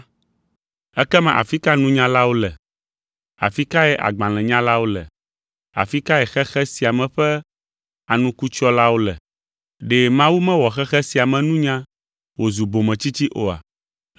Ekema afi ka nunyalawo le? Afi kae agbalẽnyalawo le? Afi kae xexe sia me ƒe anukutsyɔlawo le? Ɖe Mawu mewɔ xexe sia me nunya wòzu bometsitsi oa?